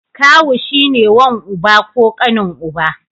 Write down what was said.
Kawu shi ne wan uba ko ƙanin uba.